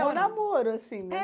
É, o namoro, assim, né?